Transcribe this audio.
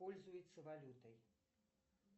пользуется валютой